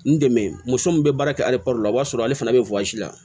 N dɛmɛ muso min bɛ baara kɛ la o b'a sɔrɔ ale fana bɛ la